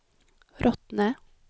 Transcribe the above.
Rottne